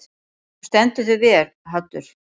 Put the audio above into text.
Þú stendur þig vel, Haddur!